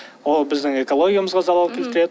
ол біздің экологиямызға залал келтіреді